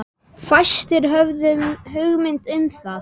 Fæstir höfðu hugmynd um það.